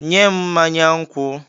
"Nye m mmanya nkwụ!"